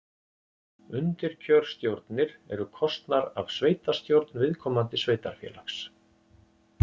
Undirkjörstjórnir eru kosnar af sveitastjórn viðkomandi sveitarfélags.